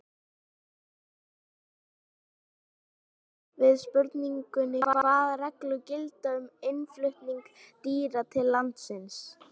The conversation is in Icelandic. Svar Sigurðar Guðmundssonar við spurningunni Hvaða reglur gilda um innflutning dýra til landsins?